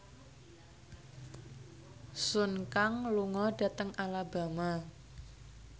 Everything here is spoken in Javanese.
Sun Kang lunga dhateng Alabama